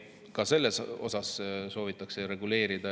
Ka seda soovitakse reguleerida.